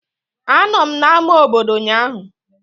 Anọ m n'ámá obodo ụnyaahụ